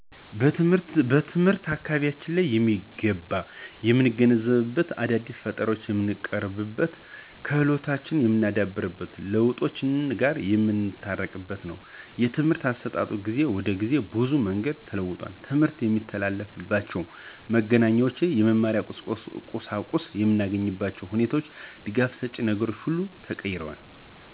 ትምህርት አካበቢያችንን በሚገባ የምንገነዘብበት፣ አዳዲስ ፈጠራወች የምንቀርብበት፣ ክህሎቶችን የምናዳብርበትና ለውጦች ጋር የምንታረቅበት ነው። የትምህርት አሰጣጥ ከጊዜ ወደ ጊዜ በብዙ መንገድ ተለውጧል። ትምርት የሚተላለፍባችው መገናኛዎች፣ የመማሪያ ቁሳቁስ የምናገኝባቸው ሁኔታዎችና ደጋፍ ሸጭ ነገሮች ሁሉ ተቀይረዋል።